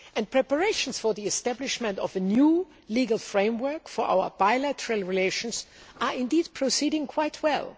Preparations for the establishment of a new legal framework for our bilateral relations are proceeding quite